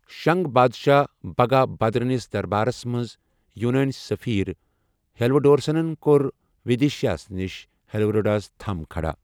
شنگ بادشاہ بھگا بھدرنِس دربارس منٛز یوٗنٲنۍ سٔفیٖر ہیلیوڈورسن کوٚر ودیشایہ نِش ہیلیوڈورس تھم کھڑا۔